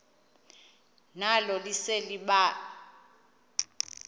nalo lise libaha